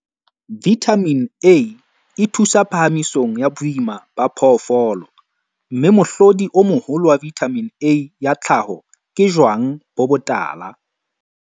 Vithamine A e thusa phahamisong ya boima ba phoofolo, mme mohlodi o moholo wa vithamine A ya tlhaho ke jwang bo botala.